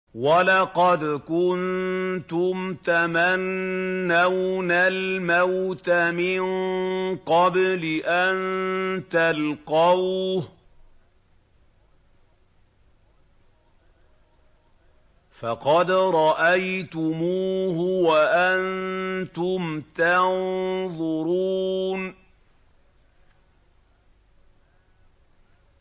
وَلَقَدْ كُنتُمْ تَمَنَّوْنَ الْمَوْتَ مِن قَبْلِ أَن تَلْقَوْهُ فَقَدْ رَأَيْتُمُوهُ وَأَنتُمْ تَنظُرُونَ